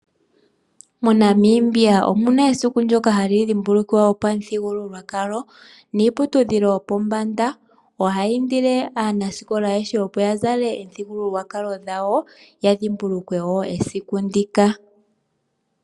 MoNamibia omuna esiku ndyoka hali dhimbulukwa lyopamuthigululwakalo niiputudhilo yopombanda ohayi iindile aanasikola ayehe opo yazale omithigululwakalo dhawo, opo yadhimbulukwe wo esiku ndika.